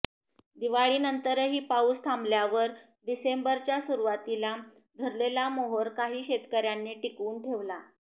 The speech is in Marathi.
दिवाळीनंतरही पाऊस थांबल्यावर डिसेंबरच्या सुरुवातीला धरलेला मोहोर काही शेतकऱ्यांनी टिकवून ठेवला